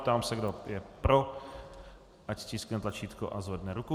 Ptám se, kdo je pro, ať stiskne tlačítko a zvedne ruku.